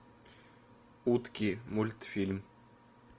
утки мультфильм